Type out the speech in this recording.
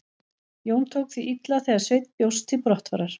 Jón tók því illa þegar Sveinn bjóst til brottfarar.